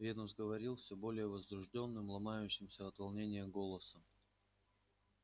венус говорил всё более возбуждённым ломающимся от волнения голосом